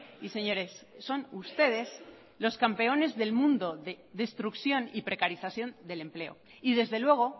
y señores son ustedes los campeones del mundo de destrucción y precarización del empleo y desde luego